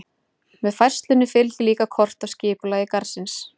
Með færslunni fylgir líka kort af skipulagi garðsins.